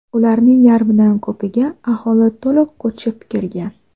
Ularning yarmidan ko‘piga aholi to‘liq ko‘chib kirgan.